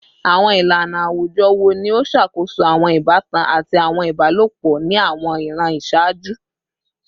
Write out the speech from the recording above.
Awọn ilana awujọ wo ni o ṣakoso awọn ibatan ati awọn ibalopọ ni awọn iran iṣaaju?